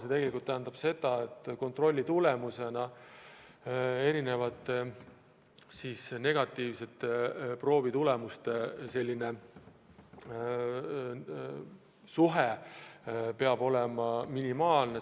See tegelikult tähendab seda, et kontrolli tulemusena selguvate negatiivsete proovitulemuste osakaal peab olema minimaalne.